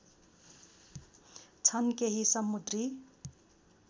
छन् केही समुद्री